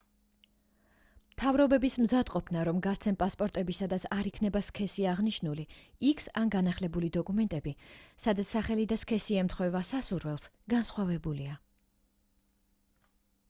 მთავრობების მზადყოფნა რომ გასცენ პასპორტები სადაც არ იქნება სქესი აღნიშნული x ან განახლებული დოკუმენტები სადაც სახელი და სქესი ემთხვევა სასურველს განსხვავებულია